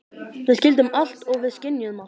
Við skildum allt og við skynjuðum allt.